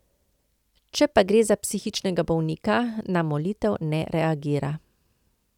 Če pa gre za psihičnega bolnika, na molitev ne reagira.